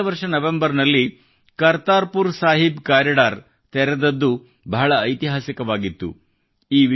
ಕಳೆದ ವರ್ಷ ನವೆಂಬರ್ ನಲ್ಲಿ ಕರ್ತಾರ್ ಪುರ್ ಸಾಹೀಬ್ ಕಾರಿಡಾರ್ ತೆರೆದದ್ದು ಬಹಳ ಐತಿಹಾಸಿಕವಾಗಿತ್ತು